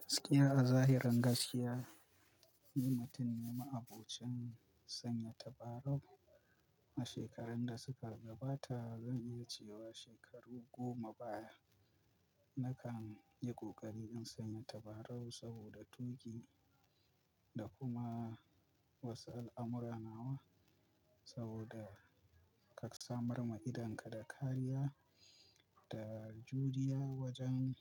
Gaskiya a zahirin gaskiya, nimutun ne ma abocin sanya tabarau a shekarun da suka gabata zan iya cewa shekaru goma baya nakan yi ƙoƙari in sanya tabarau saboda tuƙi da kuma wasu al'amura nawa. Saboda ka samar ma idonka da kariya da juriya wajen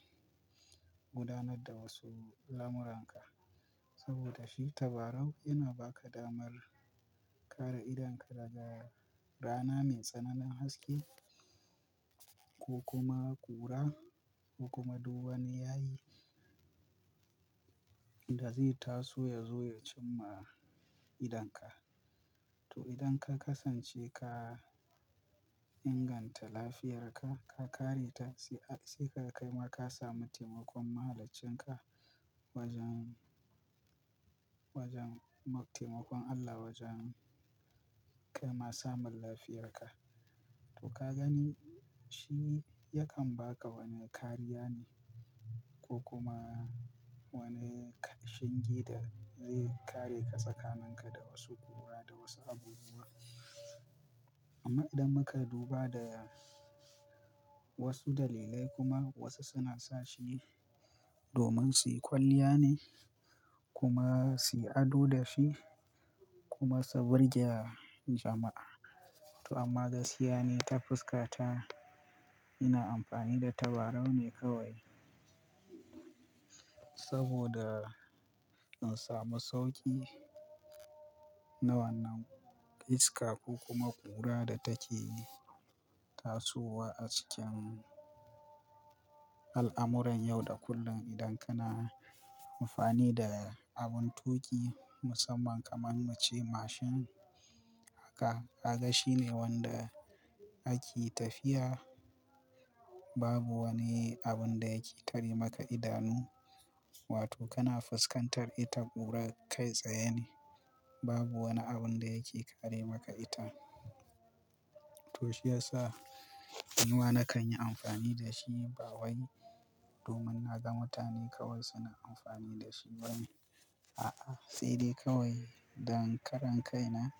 gudanar da wasu lamuranka. Saboda shi tabarau yana ba ka damar kare idonka daga rana mai tsananin haske ko kuma ƙura ko kuma duban ya yi da zai taso ya zo ya cimma idonka. To idan ka kasance ka inganta lafiyarka, ka kareta sai a sai kaga kaima ka samu taimakon mahaliccin ka wajen, wajen taimakon Allah wajen kaima samun lafiyarka. To ka gani shi yakan ba ka wani kariya ne ko kuma wani ƙarshin geda zai kare ka tsakanin ka da wasu ƙura da wasu abubuwa. Amma idan muka duba da wasu dalilai kuma wasu suna sa shi domin suyi kwalliya ne kuma suyi ado da shi kuma su birge jama'a. To amma gaskiya ne ta fuska ta ina amfani da tabarau ne kawai saboda in samu sauƙi na wannan iska ko kuma ƙura da take tasowa a cikin al'amuran yau da kullum. Idan kana amfani da abun tuƙi musamman kamar mace mashin haka ka ga shi ne wanda ake tafiya babu wani abun da yake tare maka idanu. Wato kana fuskantar ita ƙura kai tsaye ne babu wani abun da yake kare maka ita. To shi ya sa inuwa na kan yi amfani da shi bawayi domin na ga mutane kawai suna amfani da shi bane. A'a sai dai kawai dan karan kaina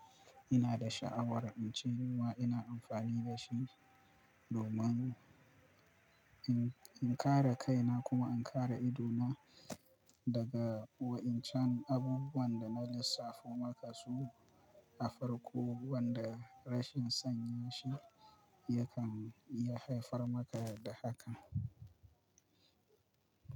ina da sha'awar in ci inuwa ina amfani da shi domin in, in kare kaina kuma in kare ido na daga wa'incan abubuwan da na lissafo maka su a farko wanda rashin sanya shi yakan iya haifar maka da haka.